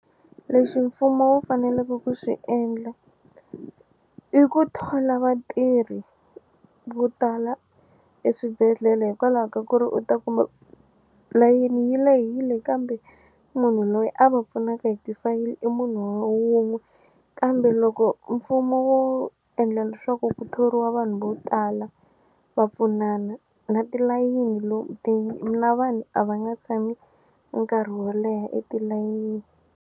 Leswi mfumo wu faneleke ku swi endla i ku thola vatirhi vo tala eswibedhlele hikwalaho ka ku ri u ta kuma layeni yi lehile kambe munhu loyi a va pfunaka hi ti fayili i munhu wa wun'we kambe loko mfumo wo endla leswaku ku thoriwa vanhu vo tala va pfunana na tilayini na vanhu a va nga tshami nkarhi wo leha etilayenini.